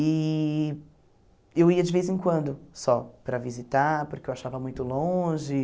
E eu ia de vez em quando só para visitar, porque eu achava muito longe.